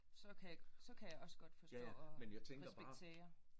Så kan så kan jeg også godt forstå og respektere